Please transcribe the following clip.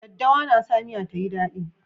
Daddawa na sa miya ta yi dadi.